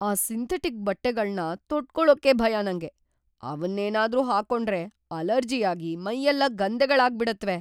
ಆ ಸಿಂಥೆಟಿಕ್ ಬಟ್ಟೆಗಳ್ನ ತೊಟ್ಕೊಳಕ್ಕೇ ಭಯ ನಂಗೆ.. ಅವನ್ನೇನಾದ್ರೂ ಹಾಕೊಂಡ್ರೆ ಅಲರ್ಜಿಯಾಗಿ ಮೈಯೆಲ್ಲ ಗಂದೆಗಳಾಗ್ಬಿಡತ್ವೆ.